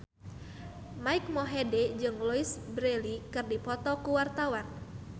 Mike Mohede jeung Louise Brealey keur dipoto ku wartawan